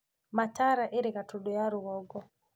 Mataara ĩrĩ Gatũndũ ya rũgongo